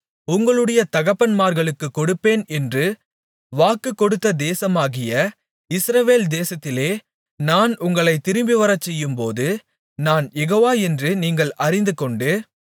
உங்களுடைய தகப்பன்மார்களுக்கு கொடுப்பேன் என்று வாக்கு கொடுத்த தேசமாகிய இஸ்ரவேல் தேசத்திலே நான் உங்களைத் திரும்பிவரச்செய்யும்போது நான் யெகோவா என்று நீங்கள் அறிந்துகொண்டு